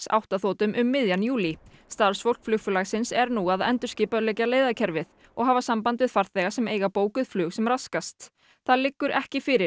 átta þotum um miðjan júlí starfsfólk flugfélagsins er nú að endurskipuleggja leiðakerfið og hafa samband við farþega sem eiga bókuð flug sem raskast það liggur ekki fyrir